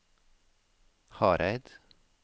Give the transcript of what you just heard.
Hareid